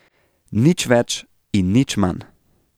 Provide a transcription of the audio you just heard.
Nič več in nič manj.